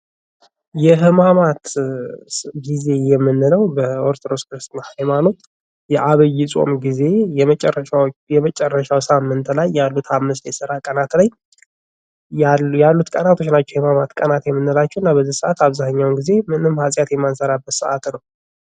የህማማይ ጊዜ የምንለው በኦርቶዶክስ ተዋህዶ ቤተ-ክርስቲያን የ ዓቢይ ጾም ጊዜ የመጨርሻ ሳምንት ጾም ያሉት አምስት የስራ ቀናት ላይ ያሉት ቀናቶች ናቸው። የህምማት ቀናቶች የምላቸው።